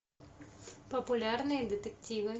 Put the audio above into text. популярные детективы